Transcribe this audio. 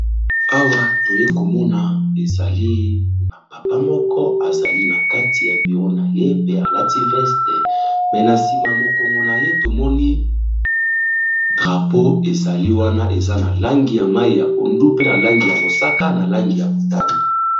Awa toye komona ezali na papa moko azali na kati ya bureau na ye pe alati veste. Mais na nsima mokongo na ye tomoni drapeau ezali wana eza na langi ya mayi ya pondu, pe na langi ya mosaka, na langi ya motani.